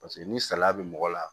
Paseke ni salaya bɛ mɔgɔ la